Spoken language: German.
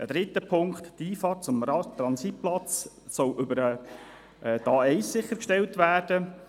Dritter Punkt: Die Einfahrt zum Transitplatz soll über die A1 sichergestellt werden.